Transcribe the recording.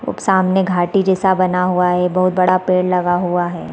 सामने घाटी जैसा बना हुआ है बहुत बड़ा पेड़ लगा हुआ है।